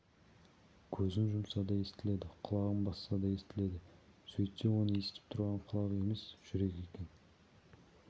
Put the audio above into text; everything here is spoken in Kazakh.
көзін жұмса да естіледі құлағын басса да естіледі сөйтсе оны естіп тұрған құлақ емес жүрек екен